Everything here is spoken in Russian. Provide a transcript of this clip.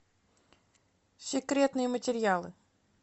секретные материалы